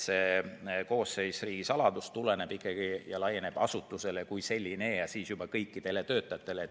See koosseis kui riigisaladus laieneb asutusele kui sellisele ja kõikidele töötajatele.